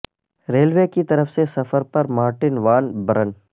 railway کی طرف سے سفر پر مارٹن وان برن